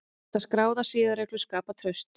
Geta skráðar siðareglur skapað traust?